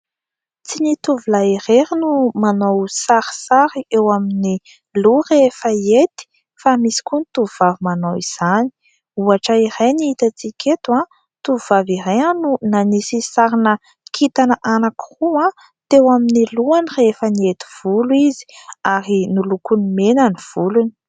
Tsy ny tovolahy irery no manao sarisary eo amin'ny loha rehefa hiety fa misy koa ny tovovavy manao izany. Ohatra iray ny hitantsika eto : tovovavy iray no nanisy sary kintana anankiroa teo amin'ny lohany rehefa niety volo izy ary nolokoiny mena ny volony.